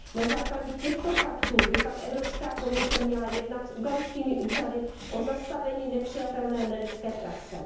Na základě těchto faktů by pak Evropská komise měla jednat s ugandskými úřady o zastavení nepřijatelné nelidské praxe.